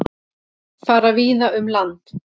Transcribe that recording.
Fara víða um land